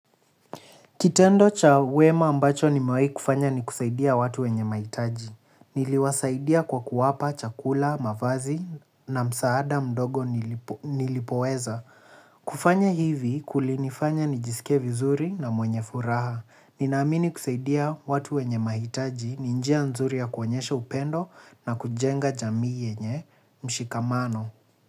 Kitendo cha wema ambacho nimawahi kufanya ni kusaidia watu wenye mahitaji. Niliwasaidia kwa kuwapa, chakula, mavazi na msaada mdogo nilipoweza. Kufanya hivi kulinifanya nijisikie vizuri na mwenye furaha. Nina amini kusaidia watu wenye mahitaji ni njia nzuri ya kuonyesha upendo na kujenga jamii yenye mshikamano.